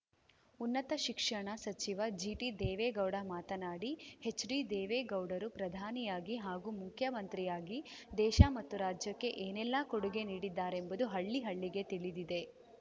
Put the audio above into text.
ಉನ್ನತ ಶಿಕ್ಷಣ ಸಚಿವ ಜಿಟಿ ದೇವೇಗೌಡ ಮಾತನಾಡಿ ಹೆಚ್‌ಡಿ ದೇವೇಗೌಡರು ಪ್ರಧಾನಿಯಾಗಿ ಹಾಗೂ ಮುಖ್ಯಮಂತ್ರಿಯಾಗಿ ದೇಶ ಮತ್ತು ರಾಜ್ಯಕ್ಕೆ ಏನೆಲ್ಲಾ ಕೊಡುಗೆ ನೀಡಿದ್ದಾರೆಂಬುದು ಹಳ್ಳಿ ಹಳ್ಳಿಗೆ ತಿಳಿದಿದೆ